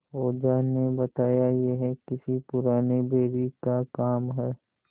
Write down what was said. ओझा ने बताया यह किसी पुराने बैरी का काम है